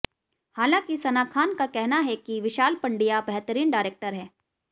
हालांकि सना खान का कहना है कि विशाल पंड्या बेहतरीन डायरेक्टर हैं